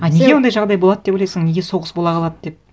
а неге ондай жағдай болады деп ойлайсың неге соғыс бола қалады деп